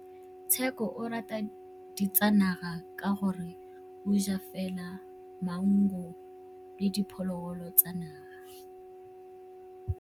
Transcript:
Tshekô o rata ditsanaga ka gore o ja fela maungo le diphologolo tsa naga.